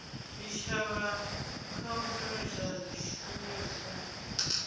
zwitshavha kha u shumisa zwishumiswa